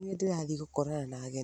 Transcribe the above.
Nĩ niĩ ndĩrathiĩ gũkorana na ageni